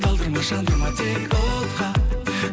талдырма жандырма тек отқа